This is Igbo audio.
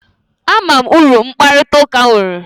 Ama m uru mkparịta ụka nwere